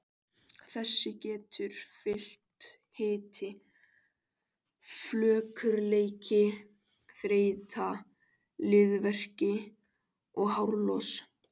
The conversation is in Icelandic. Þessu getur fylgt hiti, flökurleiki, þreyta, liðverkir og hárlos.